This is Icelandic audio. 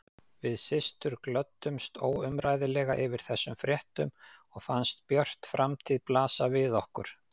Við systur glöddumst óumræðilega yfir þessum fréttum og fannst björt framtíð blasa við okkur.